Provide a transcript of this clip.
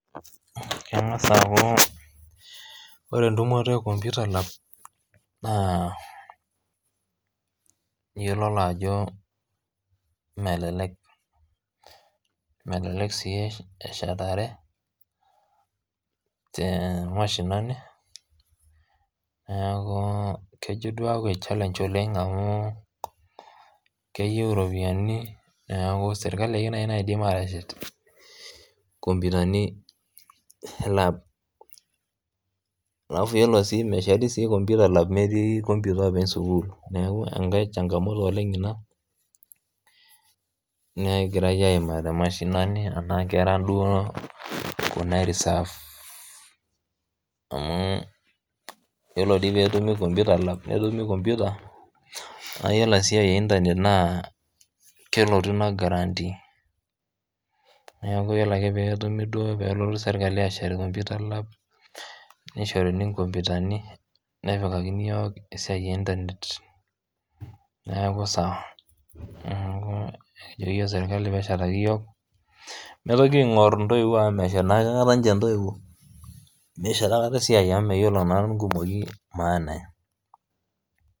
Kengas aaaku ore entumoto e computer lab naa iyololo ajoo melelek, melelek sii eshetare te mashinani, neakuu kejo duo aake challenge oleng amuu keyeu iropiiani neaku sirkali dei naii naidim aateshet kompitani elaab, alafu iyolo sii mesheti sii computer lab emetii computer oopeny sukuul naaku enkae chalngamoto oleng ina negirai aimaa te mashinani anaa kuna inkerra duo ereserve amuu iyolo deii peetumi computer lab netumi ] computer naa iyolo esiaai e internet naa kelotu mee guarantee neaku iyolo ake peetumi duo peekotu sirkali aashet computer lab neisharuni computer nepikani yook esiai e internet neaku sawa naaku kijo yook sirkali peeshetaki yook meitoki aing'or intoiwuo amu meshete naa aikata ninche ntoiwuo, meshet aikata esiai amu meyiolo naa nkumoii maana.